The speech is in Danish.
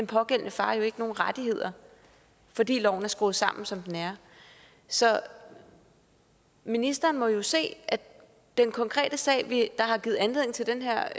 pågældende far jo ikke nogen rettigheder fordi loven er skruet sammen som den er så ministeren må jo kunne se at den konkrete sag der har givet anledning til det her